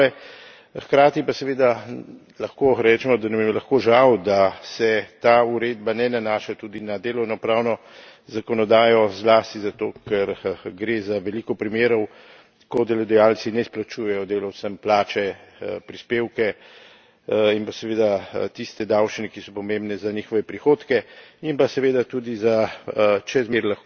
Hkrati pa seveda lahko rečemo, da nam je lahko žal, da se ta uredba ne nanaša tudi na delovnopravno zakonodajo, zlasti zato ker gre za veliko primerov, ko delodajalci ne izplačujejo delavcem plače, prispevke in pa seveda tiste davščine, ki so pomembne za njihove prihodke in pa seveda tudi za čezmejne spletne goljufije, kjer lahko ta